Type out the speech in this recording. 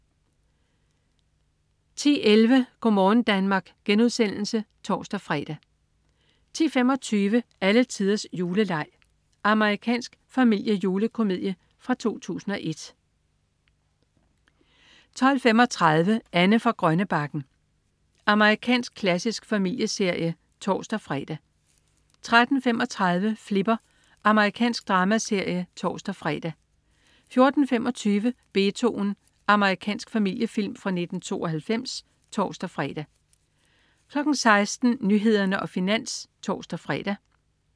10.11 Go' morgen Danmark* (tors-fre) 10.25 Alletiders juleleg. Amerikansk familiejulekomedie fra 2001 12.35 Anne fra Grønnebakken. Amerikansk klassisk familieserie (tors-fre) 13.35 Flipper. Amerikansk dramaserie (tors-fre) 14.25 Beethoven. Amerikansk familiefilm fra 1992 (tors-fre) 16.00 Nyhederne og Finans (tors-fre)